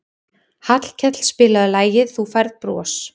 Hallkell, spilaðu lagið „Þú Færð Bros“.